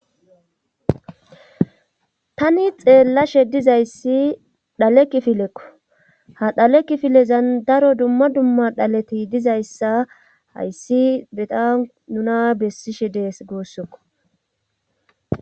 Tani xeellashe dizayssi dhalekifilekko ha dhalekifilezan daro dumma dumma dhaleti dizayssa hayssi beta nuna bessishe dees goossokko.